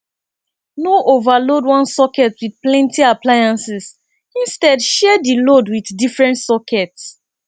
no overload one socket with plenty appliances instead share di load with different socket